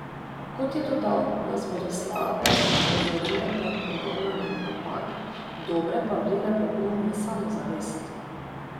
Kot je dodal, nas bodo slabe opozorile pred ponavljanjem napak, dobre pa vlile pogum in samozavest.